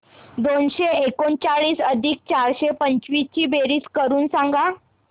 दोनशे एकोणचाळीस अधिक चारशे पंचवीस ची बेरीज करून सांगा